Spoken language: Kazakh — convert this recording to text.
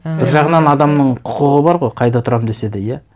бір жағынан адамның құқығы бар ғой қайда тұрамын десе де иә